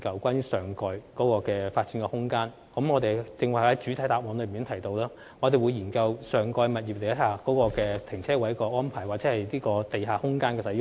正如我剛才在主體答覆中提及，我們會研究上蓋空間的泊車位安排及地下空間的使用。